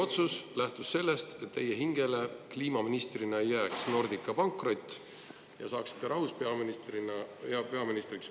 Või lähtus otsus sellest, et Nordica pankrot ei jääks teie hingele kliimaministrina ja saaksite rahus peaministriks hakata?